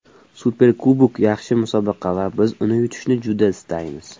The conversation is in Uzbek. Superkubok yaxshi musobaqa va biz uni yutishni juda istaymiz.